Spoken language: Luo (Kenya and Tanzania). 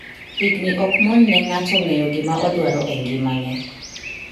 Higni okmon ne nga'to ng'eyo gimaodwaro e ngimane.